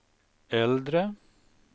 äldre